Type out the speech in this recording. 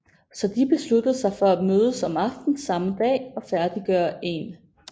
Så de besluttede sig for at mødes om aftenen samme dag og færdiggøre en